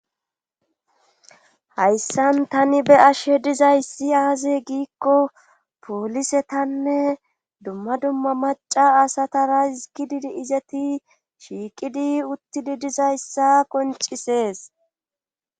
hayssan tani be ashe dizayssi aaze giikko poolisetanne dumma dumma maca asatara izkididi izeti shiiqidi uttidi dizayssa qoncisees